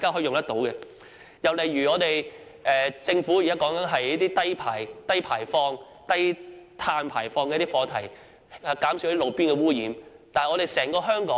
另一例子是政府現在提到的低碳排放的課題，希望減少路邊污染。